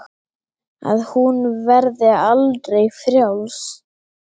Að hún verði aldrei frjáls.